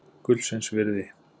Gullsins virði.